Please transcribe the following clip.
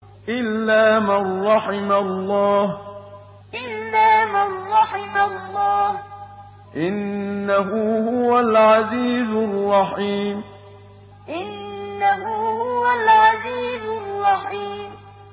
إِلَّا مَن رَّحِمَ اللَّهُ ۚ إِنَّهُ هُوَ الْعَزِيزُ الرَّحِيمُ إِلَّا مَن رَّحِمَ اللَّهُ ۚ إِنَّهُ هُوَ الْعَزِيزُ الرَّحِيمُ